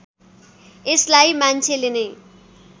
यसलाई मान्छेले नै